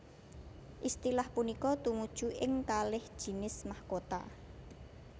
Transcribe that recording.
Istilah punika tumuju ing kalih jinis mahkota